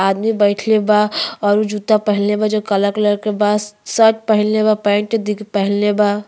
आदमी बइठल बा और वो जूता पहीनले बा जो काला कलर के बा। शर्ट पहीनले बा पैंट पहीनले बा।